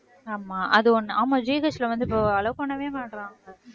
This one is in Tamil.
ஆமா அது ஒண்ணு ஆமா GH ல வந்து இப்ப allow பண்ணவே மாட்றாங்க